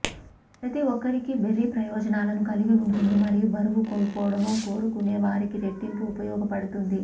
ప్రతి ఒక్కరికీ బెర్రీ ప్రయోజనాలను కలిగి ఉంటుంది మరియు బరువు కోల్పోవడం కోరుకునే వారికి రెట్టింపు ఉపయోగపడుతుంది